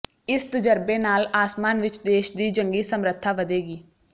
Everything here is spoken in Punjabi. ਇਸ ਤਜਰਬੇ ਨਾਲ ਆਸਮਾਨ ਵਿਚ ਦੇਸ਼ ਦੀ ਜੰਗੀ ਸਮਰੱਥਾ ਵਧੇਗੀ